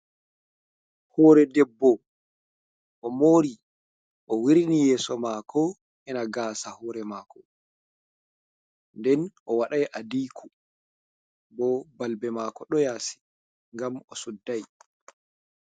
Hore debbo o mori o wirni yeso mako ena gasa, hore mako nden o waɗai adiko bo balbe mako ɗo yasi gam o suddi.